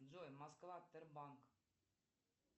джой москва тербанк